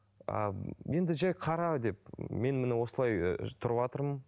а енді жай қара деп мен міне осылай ыыы тұрыватырмын